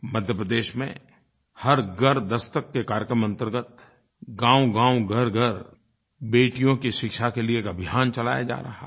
मध्य प्रदेश में हर घर दस्तक के कार्यक्रम अंतर्गत गाँवगाँव घरघर बेटियों की शिक्षा के लिये एक अभियान चलाया जा रहा है